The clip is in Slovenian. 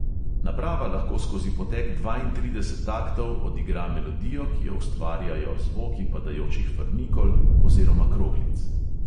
Naprava lahko skozi potek dvaintrideset taktov odigra melodijo, ki jo ustvarjajo zvoki padajočih frnikol oziroma kroglic.